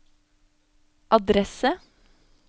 adresse